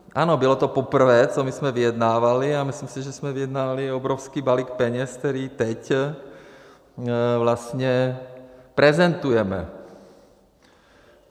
Ano, bylo to poprvé, co my jsme vyjednávali, a myslím si, že jsme vyjednali obrovský balík peněz, který teď vlastně prezentujeme.